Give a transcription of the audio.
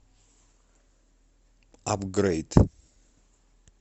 апгрейд